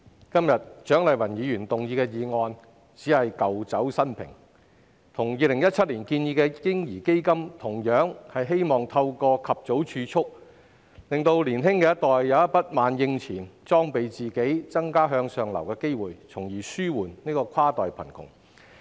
主席，蔣麗芸議員今天提出的議案只是舊酒新瓶，與2017年建議的"嬰兒基金"一樣，都是希望透過及早儲蓄，讓年輕一代有筆萬應錢，裝備自己，增加向上流的機會，從而紓緩跨代貧窮。